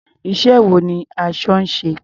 Iṣẹ́ wo ni aṣọ ń ṣe?